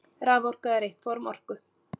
Raforka er eitt form orku.